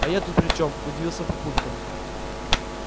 а я тут при чем удивился папулька